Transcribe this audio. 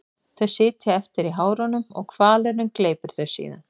Þau sitja eftir í hárunum og hvalurinn gleypir þau síðan.